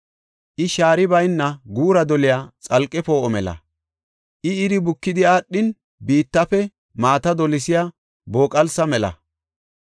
I shaari bayna guura doliya xalqe poo7o mela. I iri bukidi aadhin, biittafe maata dolisiya booqalsa mela.’